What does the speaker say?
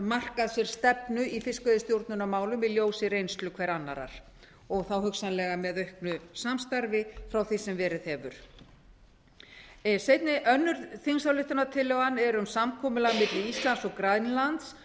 markað sér stefnu í fiskveiðistjórnarmálum í ljósi reynslu hver annarrar og þá hugsanlega með auknu samstarfi frá því sem verið hefur önnur þingsályktunartillagan er um samkomulag milli íslands og grænlands